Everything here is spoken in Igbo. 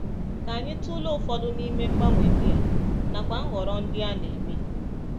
Ka anyị tụlee ụfọdụ n’ime mgbanwe ndị a, nakwa nhọrọ ndị a na-eme